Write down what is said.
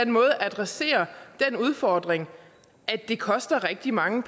måde adresserer den udfordring at det koster rigtig mange